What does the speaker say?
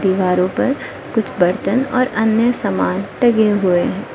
दीवारों पर कुछ बर्तन और अन्य सामान टंगे हुए--